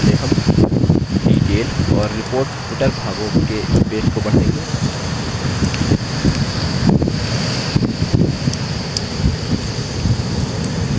इसके लिए सबसे पहले हम detail और report footer भागों के स्पेस को बढ़ाएँगे